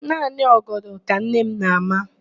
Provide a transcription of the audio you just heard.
Naanị ọgọdọ ka nne m na-ama.